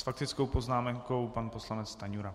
S faktickou poznámkou pan poslanec Stanjura.